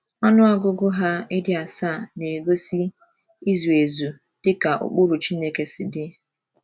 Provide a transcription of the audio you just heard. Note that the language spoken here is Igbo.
Ọnụ ọgụgụ ha ịdị asaa na - egosi izu ezu dị ka ụkpụrụ Chineke si dị.